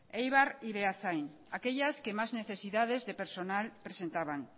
eibar y beasain aquellas que más necesidades de personal presentaban